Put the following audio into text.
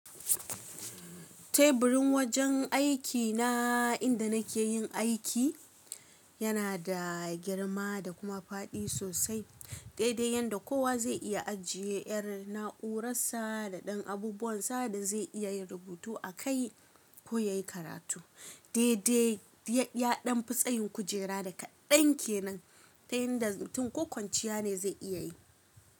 Teburin wajen aikina inda nake yin aiki yana da girma da kuma faɗi sosai, daidai yadda kowa zai iya ajiye yar na’uransa da ɗan abubuwan sa da zai iya yin rubutu a kai ko ya yi karatu. Daidai yaɗan fi tsayin kujera da kaɗan ke nan, inda mutun ko konciya ne zai iya yi.